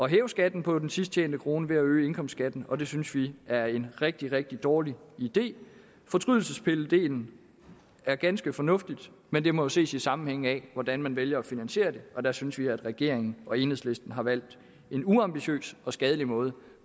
hæve skatten på den sidst tjente krone ved at øge indkomstskatten og det synes vi er en rigtig rigtig dårlig idé fortrydelsespilledelen er ganske fornuftig men den må ses i sammenhæng med hvordan man vælger at finansiere det og der synes vi at regeringen og enhedslisten har valgt en uambitiøs og skadelig måde